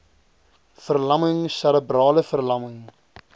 verlamming serebrale verlamming